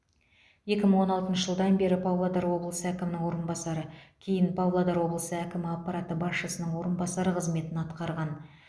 екі мың он алтыншы жылдан бері павлодар облысы әкімінің орынбасары кейін павлодар облысы әкімі аппараты басшысының орынбасары қызметін атқарған